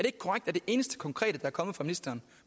ikke korrekt at det eneste konkrete der er kommet fra ministeren